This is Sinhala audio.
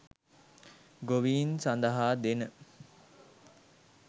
ගොවීන් සඳහා දෙන